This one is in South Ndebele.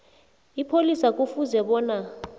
ipholisa kufuze bona